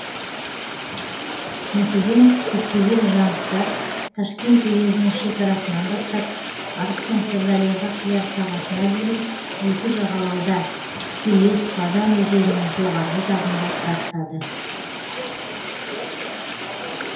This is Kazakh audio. мәселен көптеген жаныстар ташкент уезінің шекарасынан бастап арыстың сырдарияға құяр сағасына дейін екі жағалауда келес бадам өзенінің жоғарғы жағында тұрақтады